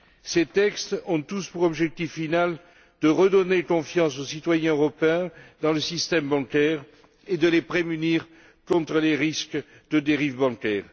Ces textes ont tous pour objectif final de redonner confiance aux citoyens européens dans le système bancaire et de les prémunir contre les risques de dérive bancaire.